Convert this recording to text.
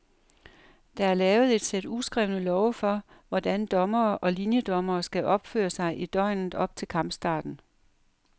Der er lavet et sæt uskrevne love for, hvordan dommere og liniedommere skal opføre sig i døgnet op til kampstarten.